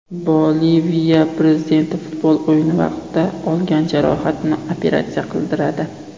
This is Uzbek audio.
Boliviya prezidenti futbol o‘yini vaqtida olgan jarohatini operatsiya qildiradi.